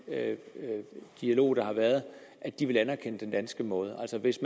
dialog der har været at de vil anerkende den danske måde altså hvis